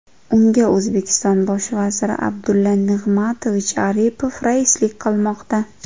Unga O‘zbekiston bosh vaziri Abdulla Nig‘matovich Aripov raislik qilmoqda.